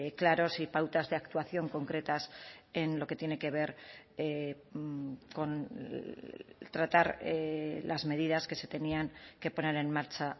claros y pautas de actuación concretas en lo que tiene que ver con tratar las medidas que se tenían que poner en marcha